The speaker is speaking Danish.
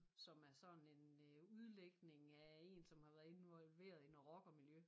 Som er sådan en øh udlægning af en som har været involveret i noget rockermiljø